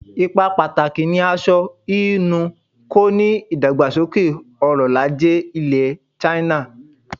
Ipa pàtàkì ni aṣọ hínú ń kó nínú ìdàgbàsókè ọrọl-ajé ilẹ̀ China.